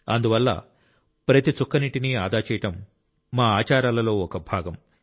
అందువల్ల ప్రతి చుక్క నీటిని ఆదా చేయడం మా ఆచారాలలో ఒక భాగం